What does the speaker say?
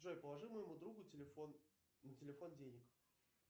джой положи моему другу на телефон денег